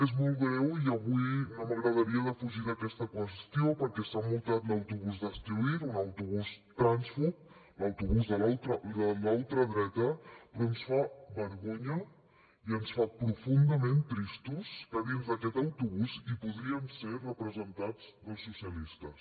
és molt greu i avui no m’agradaria defugir aquesta qüestió perquè s’ha multat l’autobús d’hazte oír un autobús trànsfob l’autobús de la ultradreta però ens fa vergonya i ens fa profundament tristos que dins d’aquest autobús hi podrien ser representats doncs socialistes